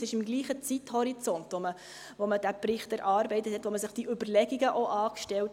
Der Bericht wurde im gleichen Zeithorizont erarbeitet, die Überlegungen dazu wurden im gleichen Zeithorizont angestellt.